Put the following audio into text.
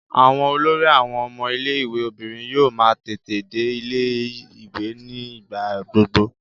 Àwọn olórí àwọn ọmọ ilé-ìwé obìnrin yóò máa tètè dé ilé-ìwé ní ìgbà gbogbo.